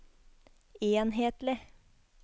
enhetlig